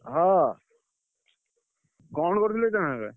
ହଁ